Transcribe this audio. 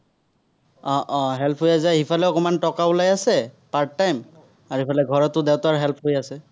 আহ আহ help হৈ যায়, সিফালেও অকনমান টকা ওলাই আছে, part-time আৰু এইফালে ঘৰতো দেউতাৰ help হৈ আছে।